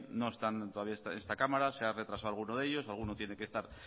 no están todavía en esta cámara se han retrasado alguno de ello alguno tiene que estar